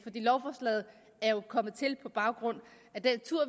lovforslaget er jo kommet til på baggrund af den tur